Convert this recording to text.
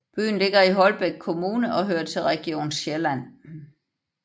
Byen ligger i Holbæk Kommune og hører til Region Sjælland